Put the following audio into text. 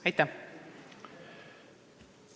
Aitäh!